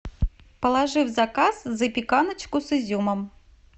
положи в заказ запеканочку с изюмом